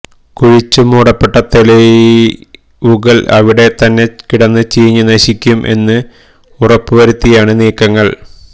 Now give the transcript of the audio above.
കുഴിച്ചു മൂടപ്പെട്ട തെളികുകൾ അവിടെ തന്നെ കിടന്ന് ചീഞ്ഞ് നശിക്കും എന്നും ഉറപ്പുവരുത്തിയാണ് നീക്കങ്ങൾ